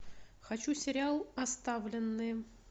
хочу сериал оставленные